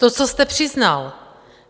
To, co jste přiznal.